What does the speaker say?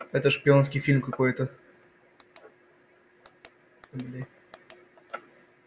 это шпионский фильм какой-то